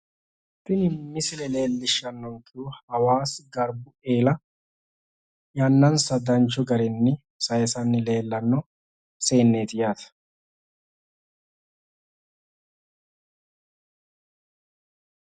tini misile leellishshannonkehu hawaasa garbu eela yannansa danchu garinni sayiisanni leellanno seenneeti yaate.